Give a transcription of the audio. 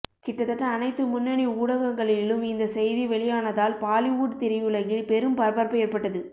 கிட்டத்தட்ட அனைத்து முன்னணி ஊடகங்களிலும் இந்த செய்தி வெளியானதால் பாலிவுட் திரையுலகில் பெரும் பரபரப்பு ஏற்பட்டது